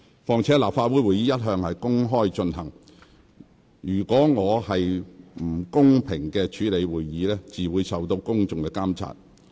況且，立法會會議一向公開進行，我是否公平公正主持會議，自會受到公眾監察。